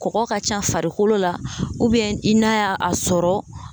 Kɔkɔ ka ca farikolo la i n'a y'a a sɔrɔ